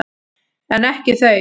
En ekki þau.